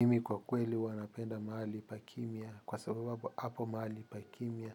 Mimi kwa kweli huwa napenda mahali pa kimya kwa sababu hapo mahali pa kimya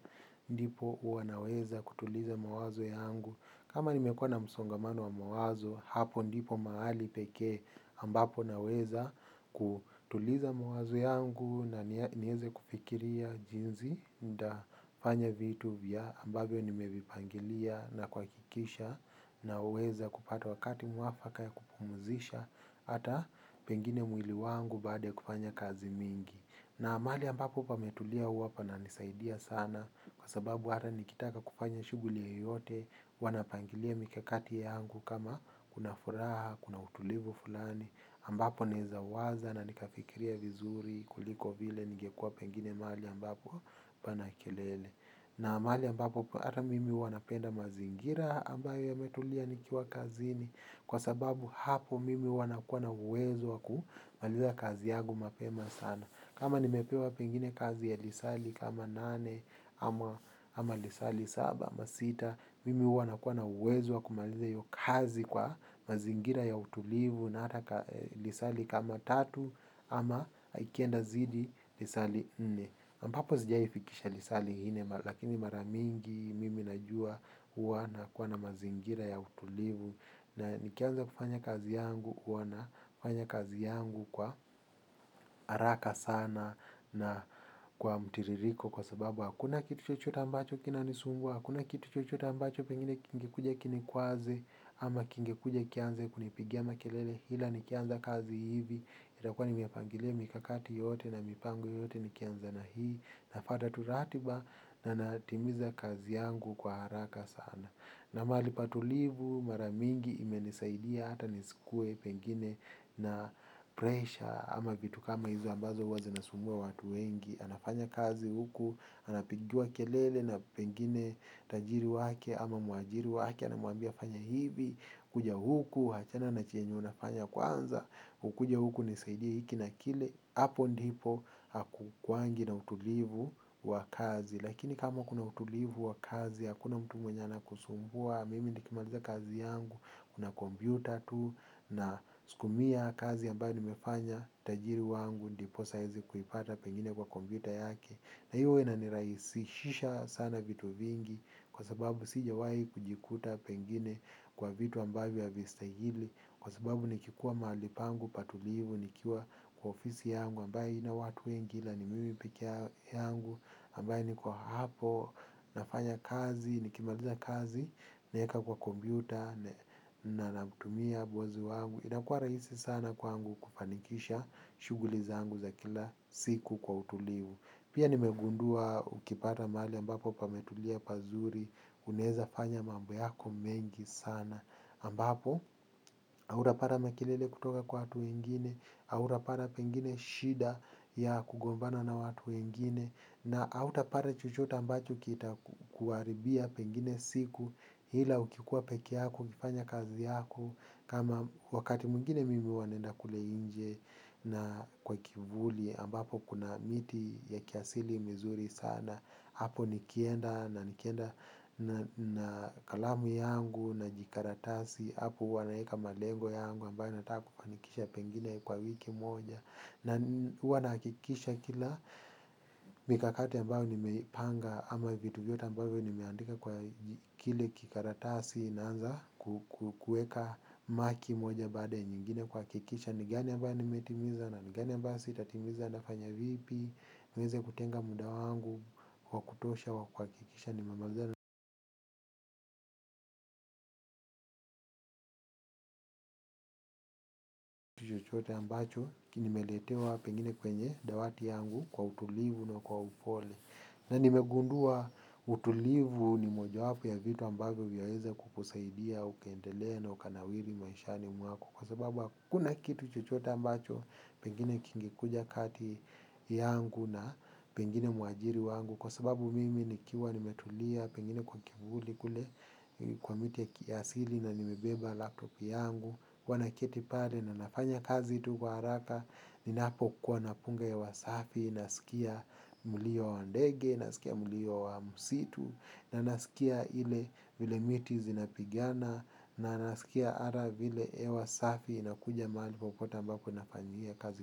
ndipo huwa naweza kutuliza mawazo yangu kama nimekuwa na msongamano wa mawazo hapo ndipo mahali pekee ambapo naweza kutuliza mawazo yangu na niweze kufikiria jinsi nitafanya vitu vya ambavyo nimevipangilia na kuhakikisha naweza kupata wakati mwafaka ya kupumzisha hata pengine mwili wangu baada ya kufanya kazi mingi na mahali ambapo pametulia huwa pananisaidia sana kwa sababu hata nikitaka kufanya shughuli yoyote huwa napangilia mikakati yangu kama kuna furaha kuna utulivu fulani ambapo nezawaza na nikafikiria vizuri kuliko vile ningekua pengine mahali ambapo pana kelele na mahamali ambapo hata mimi huwa napenda mazingira ambayo yametulia nikiwa kazini kwa sababu hapo mimi huwa nakuwa na uwezo kumaliza kazi yangu mapema sana kama nimepewa pengine kazi ya lisali kama nane ama lisali saba ama sita mimi huwa nakuwa na uwezo kumaliza hiyo kazi kwa mazingira ya utulivu na hata lisali kama tatu ama ikienda zidi lisali nne ambapo sijaifikisha lisali nne lakini mara mingi mimi najua huwa nakuwa na mazingira ya utulivu na nikianza kufanya kazi yangu huwa nafanya kazi yangu kwa haraka sana na kwa mtiririko kwa sababu hakuna kitu chochote ambacho kinanisumbua hakuna kitu chochote ambacho pengine kingekuja kinikwaze ama kingekuja kianze kunipigia makelele ila nikianza kazi hivi itakua nimepangilia mikakati yote na mipango yote nikianza na hii nafuata tu ratiba na natimiza kazi yangu kwa haraka sana na mahali patulivu mara mingi imenisaidia hata nisikuwe pengine na pressure ama vitu kama hizo ambazo huwa zinasumbua watu wengi anafanya kazi huku anapigiwa kelele na pengine tajiri wake ama mwajiri wake anamwambia fanya hivi kuja huku achana na chenye unafanya kwanza ukuje huku unisaidie hiki na kile hapo ndipo hakukuwangi na utulivu wa kazi lakini kama kuna utulivu wa kazi hakuna mtu mwenye anakusumbua mimi nikimaliza kazi yangu kuna kompyuta tu nasukumia kazi ambayo nimefanya tajiri wangu ndiposa aweze kuipata pengine kwa kompyuta yake na hivyo huwa inanirahisishia sana vitu vingi kwa sababu sijawahi kujikuta pengine kwa vitu ambavyo havistahili kwa sababu nikikuwa mahali pangu patulivu nikiwa kwa ofisi yangu ambayo haina watu wengi ila ni mimi pekee yangu ambaye niko hapo nafanya kazi nikimaliza kazi naeka kwa kompyuta na namtumia bosi wangu inakua rahisi sana kwangu kufanikisha shughuli zangu za kila siku kwa utulivu pia nimegundua ukipata mahali ambapo pametulia pazuri unaeza fanya mambo yako mengi sana ambapo hautapata makelele kutoka kwat wau wengine hautapata pengine shida ya kugombana na watu wengine na hautapata chochote ambacho kitakuharibia pengine siku ila ukikuwa pekee yako ukifanya kazi yako kama wakati mwingine mimi huwa naenda kule nje na kwa kivuli ambapo kuna miti ya kiasili mizuri sana hapo nikienda na nikienda na kalamu yangu na jikaratasi hapo huwa naeka malengo yangu ambayo nataka kufanikisha pengine kwa wiki moja na huwa nahakikisha kila mikakati ambayo nimeipanga ama vitu vyote ambavyo nimeandika kwa kile kikaratasi naanza kueka maki moja baada ya nyingine kuhakikisha ni gani ambayo nimetimiza na ni gani ambayo sitatimiza nafanya vipi niweze kutenga muda wangu wa kutosha wa kuhakikisha nimemalizana chochote ambacho nimeletewa pengine kwenye dawati yangu kwa utulivu na kwa upole na nimegundua utulivu ni mojawapo ya vitu ambavyo vyaweza kukusaidia ukaendelea na ukanawiri maishani mwako kwa sababu hakuna kitu chochote ambacho pengine kingekuja kati yangu na pengine mwajiri wangu kwa sababu mimi nikiwa nimetulia pengine kwa kivuli kule kwa miti ya kiasili na nimebeba laptop yangu huwa naketi pale na nafanya kazi tu kwa haraka ninapokuwa napunga hewa safi nasikia mulio wa ndege nasikia mulio wa msitu na nasikia ile vile miti zinapigana na nasikia hata vile hewa safi inakuja mahali popote ambapo nafanyia kazi.